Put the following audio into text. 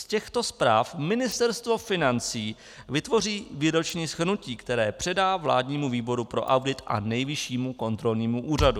Z těchto zpráv Ministerstvo financí vytvoří výroční shrnutí, které předá vládnímu výboru pro audit a Nejvyššímu kontrolnímu úřadu.